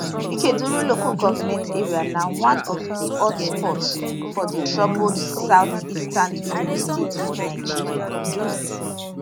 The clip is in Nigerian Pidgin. ikeduru local goment area na one of di hot spots for di troubled south eastern imo state for nigeria